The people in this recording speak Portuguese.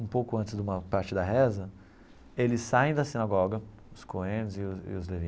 Um pouco antes de uma parte da reza, eles saem da sinagoga, os Cohen e os os Leví,